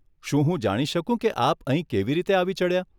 શું હું જાણી શકું કે આપ અહીં કેવી રીતે આવી ચડ્યા?